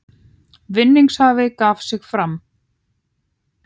Vinningshafi gaf sig fram